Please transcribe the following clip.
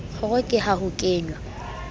kgoro ke ha ho kenwa